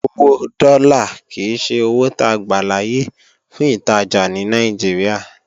Owó dọ́là kìí ṣe owó ta gbàláyè fún ìtajà ní Nàìjíríà